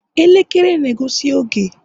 elekere na-egosi oge